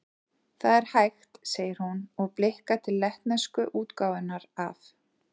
Það er hægt, segir hún, og blikkar til lettnesku útgáfunnar af